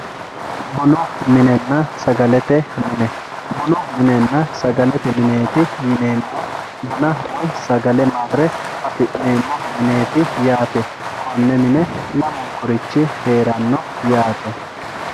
bunu minenna sagalete mine bunu minenna sagalete mineeti yineemohu buna woy sagale marre afi'neemo mineeti yaate konne mine lamunkurichi heeranno yaate.